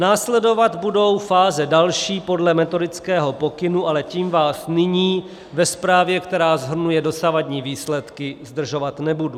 Následovat budou fáze další podle metodického pokynu, ale tím vás nyní ve zprávě, která shrnuje dosavadní výsledky, zdržovat nebudu.